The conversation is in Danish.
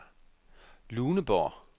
Luneborg